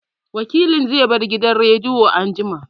Wakilin zai bar gidan rediyon anjima